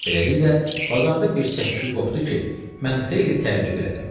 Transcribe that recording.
Beləliklə, bazarda bir cəs-küy qopdu ki, mən xeyli təəccüb elədim.